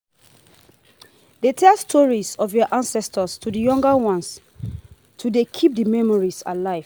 de tell stories of your ancestors to the younger ones to de keep the memories alive